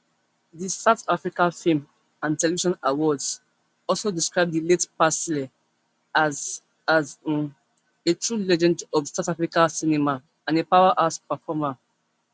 di south african film and television awards also describe di late presley as as um a true legend of south african cinema and a powerhouse performer